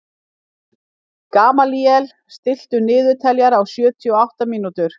Gamalíel, stilltu niðurteljara á sjötíu og átta mínútur.